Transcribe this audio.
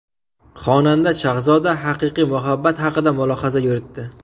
Xonanda Shahzoda haqiqiy muhabbat haqida mulohaza yuritdi.